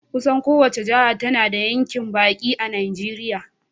Kusan kowace jiha tana da yankin baki a Najeriya.